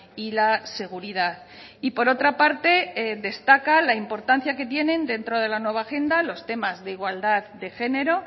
y la seguridad y por otra parte destaca la importancia que tienen dentro de la nueva agenda los temas de igualdad de género